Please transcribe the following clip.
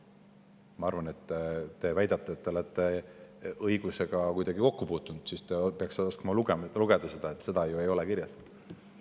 Ma arvan, et kuna te väidate, et te olete õigusega kuidagi kokku puutunud, siis te peaksite oskama lugeda seda, et seda ei ole siin kirjas.